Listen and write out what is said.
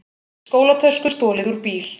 Skólatösku stolið úr bíl